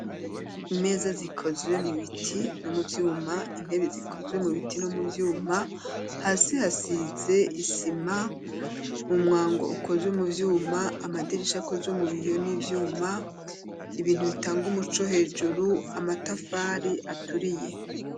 Imeza zikozwe mu biti no mu vyuma intebe zikozwe mu biti no mu vyuma hasi hasize isima umwango ukozwe mu vyuma amadirisha akozwe mu biyo n'ivyuma, ibintu bitanga umuco hejuru amatafari aturiye.